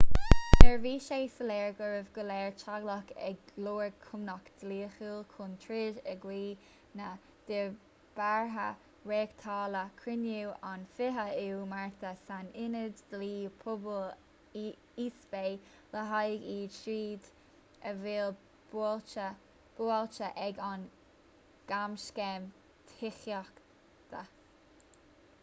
nuair a bhí sé soiléir go raibh go leor teaghlach ag lorg cúnamh dlíthiúil chun troid in aghaidh na ndíbeartha reáchtáladh cruinniú an 20ú márta san ionad dlí pobail east bay le haghaidh iad siúd a bhí buailte ag an gcamscéim tithíochta